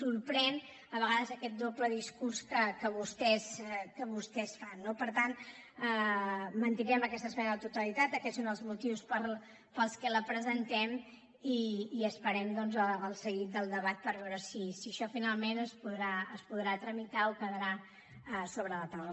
sorprèn a vegades aquest doble discurs que vostès fan no per tant mantindrem aquesta esmena a la totalitat aquests són els motius pels quals la presentem i esperem doncs el seguit del debat per veure si això finalment es podrà tramitar o quedarà sobre la taula